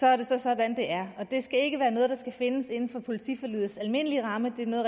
er det så sådan det er det skal ikke være noget der skal findes inden for politiforligets almindelige ramme det er noget